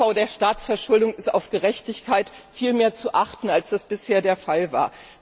Beim Abbau der Staatsverschuldung ist auf Gerechtigkeit viel mehr zu achten, als das bisher der Fall war.